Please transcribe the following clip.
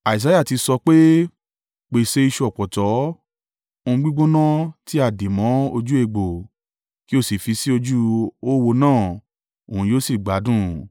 Isaiah ti sọ pé, “Pèsè ìṣù ọ̀pọ̀tọ́ (ohun gbígbóná tí a dì mọ́ ojú egbò) kí o sì fi sí ojú oówo náà, òun yóò sì gbádùn.”